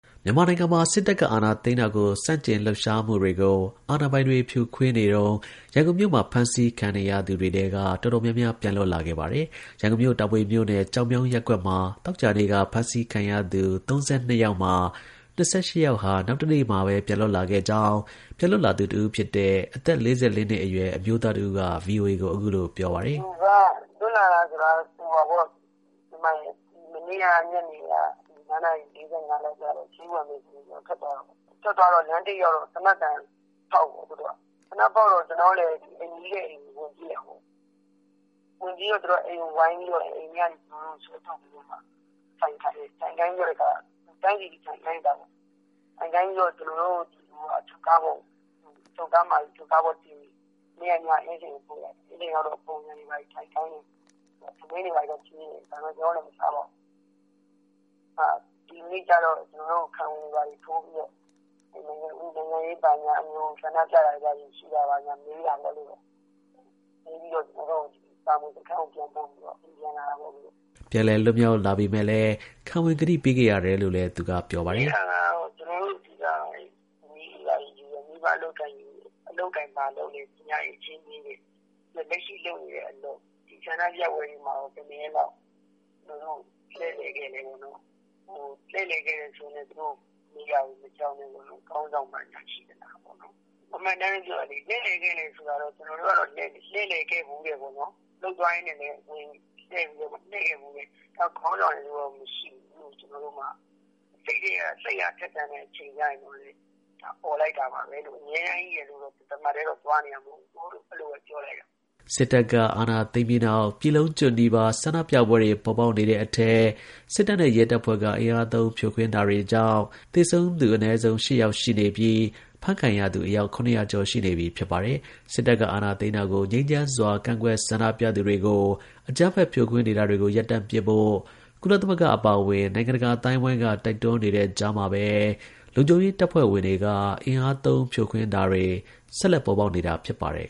မြန်မာနိုင်ငံမှာ စစ်တပ်က အာဏာသိမ်းတာကို ဆန့်ကျင်လှုပ်ရှားမှုတွေကို အာဏာပိုင်တွေ ဖြိုခွင်းရင်း ရန်ကုန်မြို့မှာ ဖမ်းဆီးခံရသူ တွေထဲက တော်တော်များများ ပြန်လွတ်လာပါတယ်။ ရန်ကုန်မြို့ တာမွေမြို့နယ်၊ ကျောက်မြောင်း ရပ်ကွက်မှာ သောကြာနေ့က ဖမ်းဆီးခံရသူ ၃၂ယောက်မှာ ၂၈ယောက်ဟာ နောက်တနေ့မှာပဲ ပြန်လွတ်လာခဲ့ကြောင်း ပြန်လွတ်လာသူ ၁ ဦးဖြစ်တဲ့ အသက် ၄၄နှစ်အရွယ် အမျိုးသားတစ်ဦးက ဗွီအိုအေကို အခုလို ပြောပါတယ်။ “လွှတ်လာတယ်ဆိုတာက မနေ့ကညနေက ၅ နာရီ ၄၅ လောက်မှာ ထွက်သွားတာပေါ့ ။ ထွက်သွားတော့ လမ်းထိပ်ရောက်တော့ သေနတ်သံဖောက်တော့ ကျနော်ကလည်း နီးတဲ့အိမ်ကို ဝင်ပြေးတာပေါ့ ။ ဝင်ပြေးတော့ သူတို့က အိမ်ကို ဝိုင်းပြီးတော့ ကျနော့်ကို အိမ်ကနေ ဆွဲထုတ်ပြီးတော့ ထိုင်ခိုင်းတယ် ညနေအထိ ထိုင်ခိုင်းတယ်။ ထိုင်ခိုင်းပြီးတော့ ကျနော်တို့ကို အချုပ်ကားပေါ်တင်ပြီးတော့ အင်းစိန်ကိုပို့တယ်။ အင်းစိန်ရောက်တော့ ပုံစံထိုင်ခိုင်းတယ် ထမင်းတွေဘာတွေတော့ ကျွေးတယ် ဒါပေမယ့် ကျနော်တို့လည်း မစားပါဘူး။ ဒီနေ့ကျတော့ ကျနော်တို့ကို ခံဝန်တွေဘာတွေထိုးပြီးတော့ ၊ ဆန္ဒပြတာတွေဘာညာ မေးပြီးတော့ ကျနော်တို့ကို တာမွေစခန်းကို ပြန်ပို့တယ် ၊ ပို့ပြီးတော့ အခုပြန်လာတာပေါ့။” ပြန်လည်လွတ်မြောက်လာပေမဲ့လည်း ခံဝန်ကတိပေးခဲ့ရတယ်လို့လည်း ပြောပါတယ်။ “အဓိကတော့ အချက်အလက်ယူတယ် မိဘအလုပ်အကိုင်တွေ ဘာလုပ်သလဲ၊ ပညာအရည်အချင်းမေးတယ် ။ ပြီးတော့ လက်ရှိလုပ်နေတဲ့အလုပ် ဆန္ဒပြပွဲတွေမှာ ဘယ်နှစ်ရက်လောက်ပါခဲ့သလဲပေါ့နော် ။ လှည့်လည်ခဲ့တယ်ဆိုရင်လည်း သူတို့မေးတာတွေမကြောက်နဲ့ပေါ့နော် ။ ခေါင်းဆောင်တွေရှိသလားပေါ့နော် ။ အမှန်အတိုင်းပဲပြောတာလေ လှည့်လည်ခဲ့တယ်ဆိုတာကတော့ ကျနော်တို့ကတော့ လှည့်လည်ခဲ့ဖူးတယ်ပေါေ့နာ် ၊ အလုပ်သွားရင်းနဲ့လည်း ဝင်ပါခဲ့ဖူးတယ်ပေါ့နော်။နောက် ခေါင်းဆောင်တွေရယ်လို့တော့မရှိဘူးလို့ ကျနော်တို့မှာ။ စိတ်အားထက်သန်တဲ့အချိန်ကျတော့လည်း အော်လိုက်တာပါပဲလို့ အမြဲတမ်း သွားနေတာ မဟုတ်ဘူးလို့ ပြောလိုက်တာ” စစ်တပ်က အာဏာသိမ်းပြီးနောက်ပြည်လုံးကျွတ်နီးပါး ဆန္ဒပြပွဲတွေ ပေါ်ပေါက်နေတဲ့အထဲ စစ်တပ်နဲ့ ရဲတပ်ဖွဲ့က အင်အားသုံး ဖြိုခွင်းတာတွေကြောင့်သေဆုံးသူ အနည်းဆုံး ၈ ယောက် ရှိနေပြီး ဖမ်းခံရသူ အယောက် ၇ဝဝ ကျော်ရှိနေပြီ ဖြစ်ပါတယ်။ စစ်တပ်က အာဏာသိမ်းတာကို ငြိမ်းချမ်းစွာ ကန့်ကွက်ဆန္ဒပြသူတွေကို အကြမ်းဖက် ဖြိုခွင်းနေတာတွေကို ရပ်တန့်ဖို့ ကုလသမဂ္ဂ အပါအဝင် နိုင်ငံတကာ အသိုင်းအဝန်းက တိုက်တွန်းနေတဲ့ကြားမှာပဲ လုံခြုံရေးတပ်ဖွဲ့တွေက အင်အားသုံးဖြိုခွင်းတာတွေ ဆက်လက်ပေါ်ပေါက်နေတာ ဖြစ်ပါတယ်